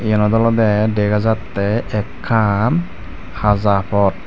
enot olode dega jatte ekkan haja pot.